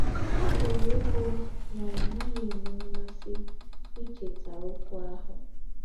Ọ̀ pùrù ìbù nà ì̀ nà-àghí ènwé m̀másí íchétà ókwú àhù.